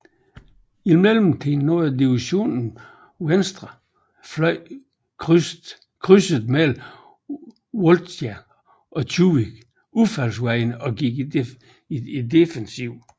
I mellemtiden nåede divisionen venstre fløj krydset mellem Voltjansk og Tjuguiv udfaldsvejene og gik i defensiven